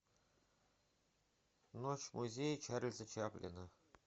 ночь в музее чарльза чаплина